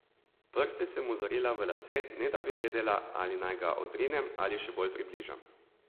Prste sem mu zarila v lase, ne da bi vedela, ali naj ga odrinem ali še bolj približam.